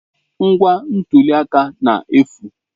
Ngwa ntuli aka na-efu.